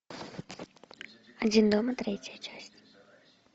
один дома третья часть